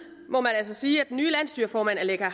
må man altså sige at den nye landsstyreformand aleqa